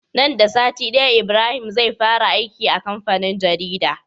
Nan da sati daya Ibrahim zai fara aiki a kamfanin jarida